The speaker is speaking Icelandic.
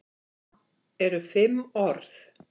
Það eru fimm orð.